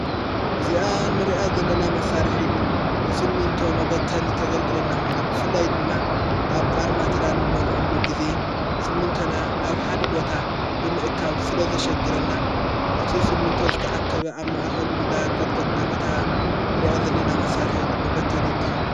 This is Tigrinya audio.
እዚኣ ንርኣት ዘለና መሣርሒት ንስሚንቶ መበተን ተገርግለና ኾይና ብፍላይ ድማ ኣብ ኣርማይትኸውን ልአሉ ጊዜ ስሚንቶና ናብ ሓደ ቦታ ብምእካብ ስለ ዘሸግረና እቲ ስሚንቶ ዝተኣከበ ኣብ ማኣኸሉ እንዳ ንቀጥቀጥና በታ ንርኣት ዘለና መሣርሒት መበተን ይትኸውን።